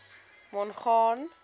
mongane